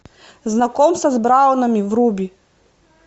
знакомство с браунами вруби